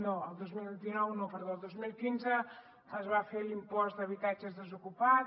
no el dos mil dinou no perdó el dos mil quinze es va fer l’impost d’habitatges desocupats